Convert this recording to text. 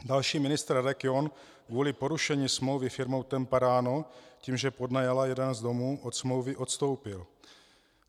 Další ministr, Radek John, kvůli porušení smlouvy firmou TEMPARANO, tím že podnajala jeden z domů, od smlouvy odstoupil.